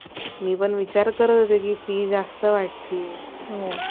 मी पण विचार करत होते कि फी जास्त वाटतीये